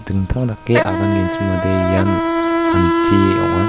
dingtang dake agangenchimode ian anti ong·a.